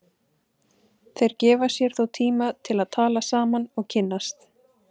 Þeir gefa sér þó tíma til að tala saman og kynnast.